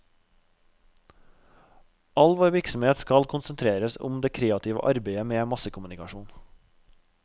All vår virksomhet skal konsentreres om det kreative arbeidet med massekommunikasjon.